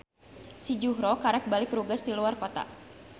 Si Juhro karek balik rugas ti luar kota.